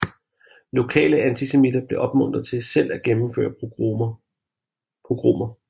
Lokale antisemitter blev opmuntret til selv at gennemføre pogromer